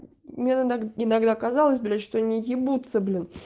мне надо иногда казалось блять что они ебутся блин